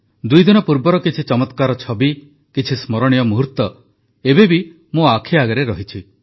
ଦୁଇ ଦିନ ପୂର୍ବର କିଛି ଚମତ୍କାର ଛବି କିଛି ସ୍ମରଣୀୟ ମୁହୁର୍ତ୍ତ ଏବେ ବି ମୋ ଆଖି ଆଗରେ ରହିଛି